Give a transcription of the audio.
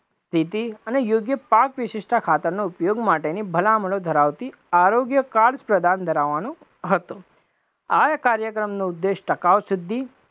નીતિ અને યોગ્ય પાક વિશીશતા ખાતરના ઉપયોગ માટેની ભલામણો ધરાવતી આરોગ્ય કાર્ડ્સ પ્રદાન ધરાવવાનો હતો, આ કાર્યક્રમનો ઉદ્દેશ ટકાવ સિદ્ધિ